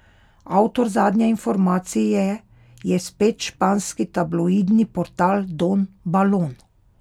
Avtor zadnje informacije je spet španski tabloidni portal Don Balon.